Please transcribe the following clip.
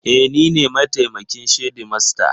E, ni ne mataimakin shedimasta.